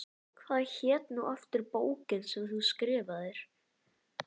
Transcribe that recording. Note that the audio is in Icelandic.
Hvað hét nú aftur bókin sem þú skrifaðir?